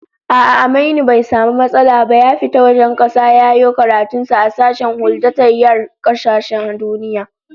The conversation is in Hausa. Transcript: A'a, Aminu bai samu matsala ba ya fita wajen kasa ya yiwo karatun sa a sashen huldatayyar kasashen duniya